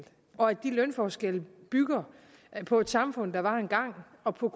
og at de lønforskelle bygger på et samfund der var engang og på